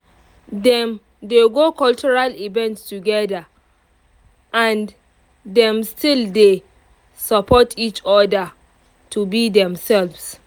dem dey go cultural event together and dem still dey support each other to be demselves